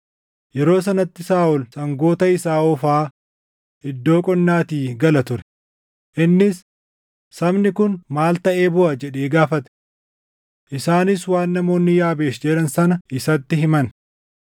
Yeroo sanatti Saaʼol sangoota isaa oofaa iddoo qonnaatii gala ture; innis, “Sabni kun maal taʼee booʼa?” jedhee gaafate. Isaanis waan namoonni Yaabeesh jedhan sana isatti himan.